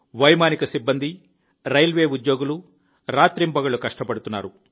వైమానిక సిబ్బంది రైల్వే ఉద్యోగులు రాత్రింబగళ్లు కష్టపడుతున్నారు